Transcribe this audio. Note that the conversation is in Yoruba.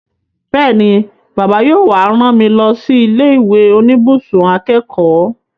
Bẹ́ẹ̀ni, Bàbá yóò wá rán mi lọ sí ilé ìwé oníbùsùn akẹ́kọ̀ọ́